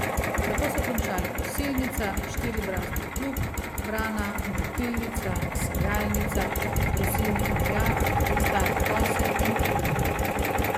Tako so končali kosilnica, štiribrazdni plug, brana, mlatilnica, sejalnica, trosilnik gnoja, stare kose in grablje.